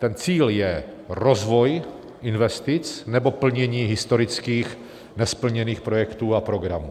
Ten cíl je rozvoj investic nebo plnění historických nesplněných projektů a programů.